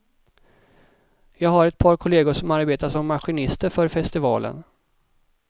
Jag har ett par kollegor som arbetar som maskinister för festivalen.